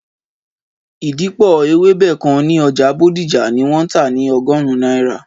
Ìdìpọ̀ ewébẹ̀ kan ní Ọjà Bodija ní wọn tà ni ọgọrun náírà